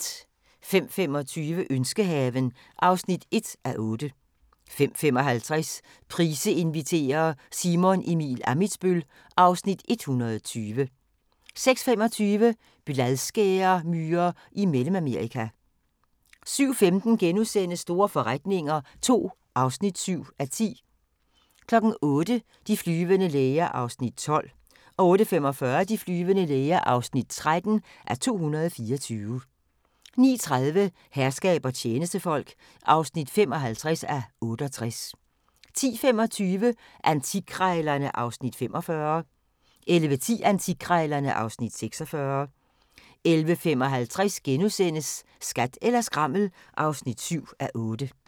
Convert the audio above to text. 05:25: Ønskehaven (1:8) 05:55: Price inviterer – Simon Emil Ammitzbøll (Afs. 120) 06:25: Bladskæremyrer i Mellemamerika 07:15: Store forretninger II (7:10)* 08:00: De flyvende læger (12:224) 08:45: De flyvende læger (13:224) 09:30: Herskab og tjenestefolk (55:68) 10:25: Antikkrejlerne (Afs. 45) 11:10: Antikkrejlerne (Afs. 46) 11:55: Skat eller skrammel (7:8)*